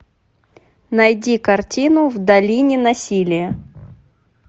найди картину в долине насилия